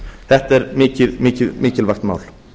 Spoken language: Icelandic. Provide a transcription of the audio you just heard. þetta er mikilvægt mál